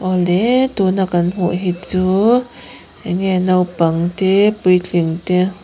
awle tuna kan hmuh hi chu enge naupang te puitling te.